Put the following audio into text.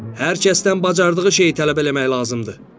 Hər kəsdən bacardığı şeyi tələb eləmək lazımdır.